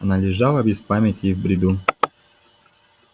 она лежала без памяти и в бреду